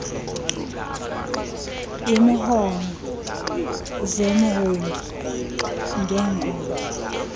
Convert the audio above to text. iimhono zemhongi ngengoma